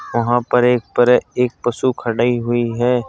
वहां पर एक परे एक पशु खड़ी हुई है।